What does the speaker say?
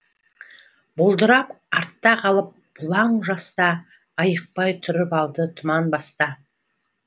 бұлдырап артта қалып бұлаң жас та айықпай тұрып алды тұман баста